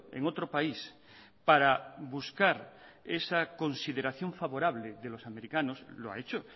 en otro país para buscar esa consideración favorable de los americanos lo ha hecho